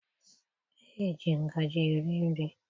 Eji ngaji eri nri.